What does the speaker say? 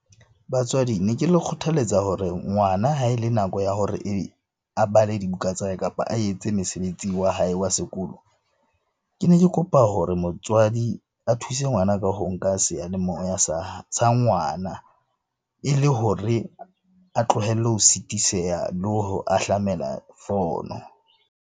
Batswadi ne ke le kgothaletsa hore ngwana ha e le nako ya hore a bale dibuka tsa hae, kapa a etse mesebetsi wa hae wa sekolo. Ke ne ke kopa hore motswadi a thuse ngwana ka ho nka seyalemoya sa ngwana e le hore a tlohelle ho sitiseha le ho ahlamela fono.